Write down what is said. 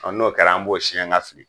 N'o kɛra an b'o siyɛn ka fili.